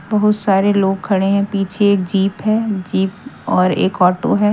बहुत सारे लोग खड़े हैं पीछे एक जीप है जीप और एक ऑटो है।